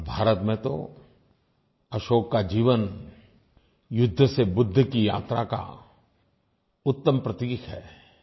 और भारत में तो अशोक का जीवन युद्ध से बुद्ध की यात्रा का उत्तम प्रतीक है